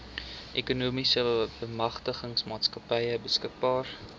ekonomiese bemagtigingsmaatskappy beskikbaar